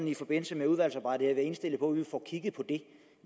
i forbindelse med udvalgsarbejdet være indstillet på at vi får kigget på det